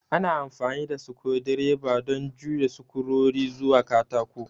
Ana amfani da sukur direba don juya sukurori zuwa katako